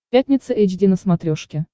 пятница эйч ди на смотрешке